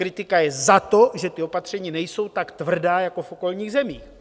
Kritika je za to, že ta opatření nejsou tak tvrdá jako v okolních zemích.